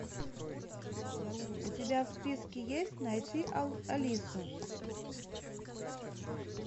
у тебя в списке есть найти алису